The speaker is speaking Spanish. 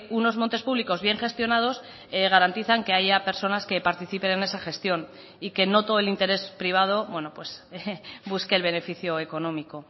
unos montes públicos bien gestionados garantizan que haya personas que participen en esa gestión y que no todo el interés privado busque el beneficio económico